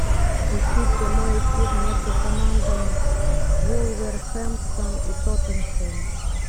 ищи прямой эфир между командами вулверхэмптон и тоттенхэм